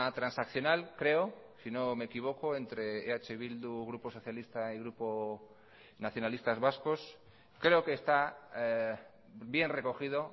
transaccional creo si no me equivoco entre eh bildu grupo socialista y grupo nacionalistas vascos creo que está bien recogido